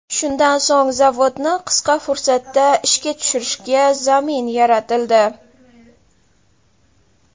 Shundan so‘ng zavodni qisqa fursatda ishga tushirishga zamin yaratildi.